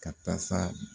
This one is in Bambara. Ka tasa